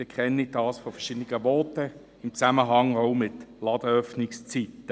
Sie kennen das von verschiedenen Voten, auch im Zusammenhang mit Ladenöffnungszeiten.